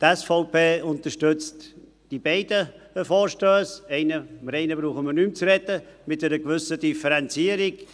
Die SVP unterstützt die beiden Vorstösse – über den einen brauchen wir nicht mehr zu sprechen – mit einer gewissen Differenzierung: